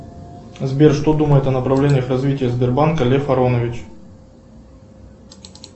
сбер что думает о направлениях развития сбербанка лев аронович